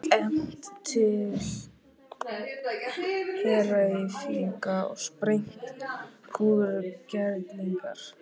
Efnt til heræfinga og sprengt púðurkerlingar?